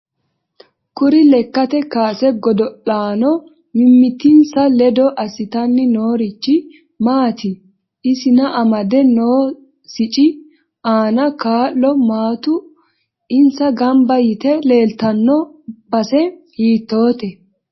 Kuri lekkate kaase godola'aano mimitinsa ledo asitanni noorichi maati isna amadde noo sicci aano kaa'lo maatu insa ganba yite leeltanno base hiitoote